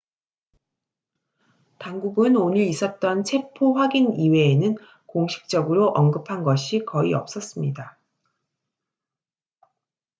당국은 오늘 있었던 체포 확인 이외에는 공식적으로 언급한 것이 거의 없었습니다